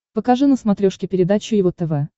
покажи на смотрешке передачу его тв